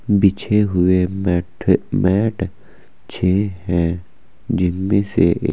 बिछे हुए मैट छह है जिनमे से--